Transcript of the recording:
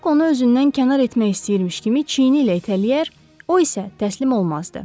Muzluq onu özündən kənar etmək istəyirmiş kimi çiyni ilə itələyər, o isə təslim olmazdı.